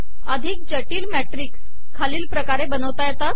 अिधक जिटल मॅिटकस खालील पकारे बनवता येतात